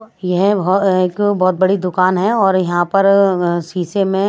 यह एक बहुत बड़ी दुकान है और यहां पर शीशे में--